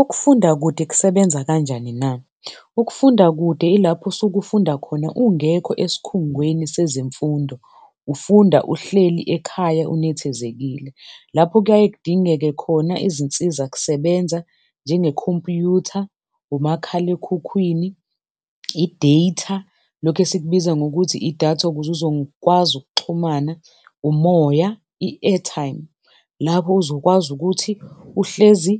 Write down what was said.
Ukufunda kude kusebenza kanjani na? Ukufunda kude ilapho usukufunda khona ungekho esikhungweni sezemfundo, ufunda uhleli ekhaya unethezekile. Lapho kuyaye kudingeke khona izinsizakusebenza njengekhompyutha, umakhalekhukhwini, i-data, lokhu esikubiza ngokuthi idatha ukuze uzokwazi ukuxhumana, umoya, i-airtime lapho uzokwazi ukuthi uhlezi